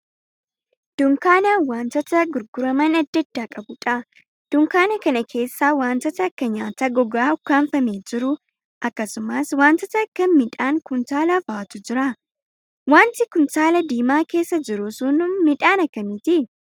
Dunkaana wantoota gurguraman adda addaa qabuudha. Dunkaana kana keessa wantoota akka nyaata gogaa ukkaanfamee jiru, akkasumas wantoota akka midhaan kuntaalaa fa'aatu jira. wanti kuntaala diimaa keessa jiru sun midhaan akkamiiti?